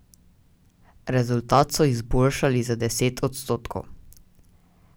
Rezultat so izboljšali za deset odstotkov.